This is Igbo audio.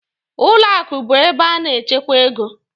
Ụlọ akụ bụ ebe a na-echekwa ego.